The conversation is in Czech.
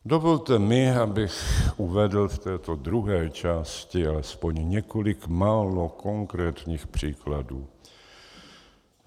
Dovolte mi, abych uvedl v této druhé části alespoň několik málo konkrétních příkladů.